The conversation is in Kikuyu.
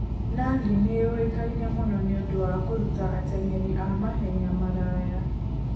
Nandi nĩ yũĩkaine mũno nĩ ũndũ wa kũruta ateng'eri a mahenya maraya.